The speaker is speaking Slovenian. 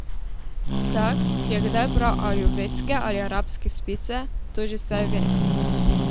Vsak, ki je kdaj bral ajurvedske ali arabske spise, to že vse ve.